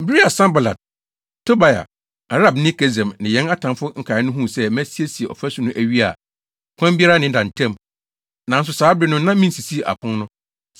Bere a Sanbalat, Tobia, Arabni Gesem ne yɛn atamfo nkae no huu sɛ masiesie ɔfasu no awie a ɔkwan biara nneda ntam; nanso saa bere no na minsisii apon no,